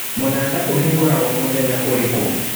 Mũnanda ũhingũragwo mũthenya ũrĩkũ